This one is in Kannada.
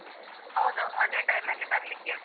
ಹೌದು ಅದೇ time ಅಲ್ಲಿ ಬರ್ಲಿಕ್ಕೆ ಹೇಳು.